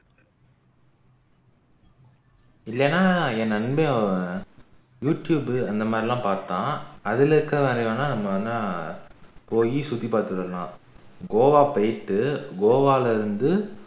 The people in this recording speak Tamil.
இல்லன்னா என் நண்பன் youtube அந்தமாறி எல்லாம் பாத்தான் அதுல இருக்கிறது வேணும்னா நம்ம வந்து போய் சுத்தி பாத்துட்டு வரலாம் கோவா போயிட்டு கோவால இருந்து